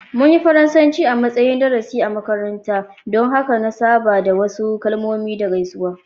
Mun yi Faransanci a matsayin darasi a makaranta, don haka na saba da wasu kalmomi da gaisuwa.